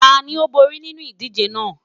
Tani o bori ninu idije naa?